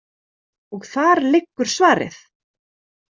Og þar liggur svarið.